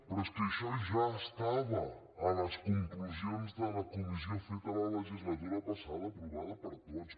però és que això ja estava a les conclusions de la comissió feta la legislatura passada aprovada per tots